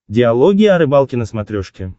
диалоги о рыбалке на смотрешке